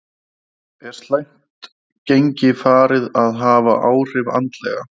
Er slæmt gengi farið að hafa áhrif andlega?